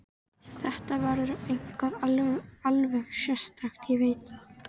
Þetta verður eitthvað alveg sérstakt, ég veit það.